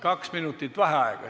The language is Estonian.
Kaks minutit vaheaega.